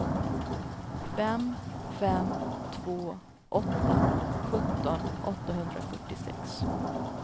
fem fem två åtta sjutton åttahundrafyrtiosex